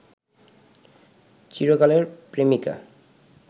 চিরকালের প্রেমিকা